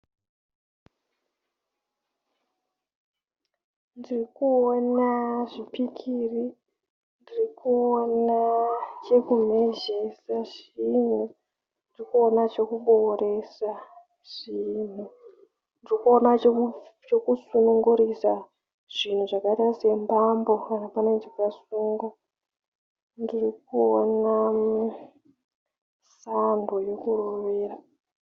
Ndirikuwona zvipikiri, ndirikuwona chekumhezvesa zvinhu, ndirikuwona zvekupoworesa zvinhu, ndirikuwona zvekusunungurusa zvinhu zvakaita sembambo kana paneshakasungwa ,ndikuwona mbambo yekurovera.